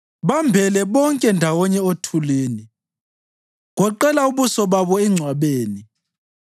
Bambele bonke ndawonye othulini; goqela ubuso babo engcwabeni.